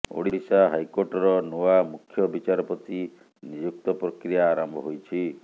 ଓଡିଶା ହାଇକୋର୍ଟର ନୂଆ ମୁଖ୍ୟବିଚାରପତି ନିଯୁକ୍ତ ପ୍ରକ୍ରିୟା ଆରମ୍ଭ ହୋଇଛି